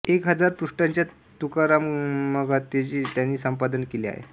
एक हजार पृष्ठांच्या तुकारामगाथेचे त्यांनी संपादन केले आहे